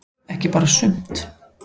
Ekki bara sumt.